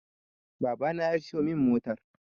Baba na ya siyo min motar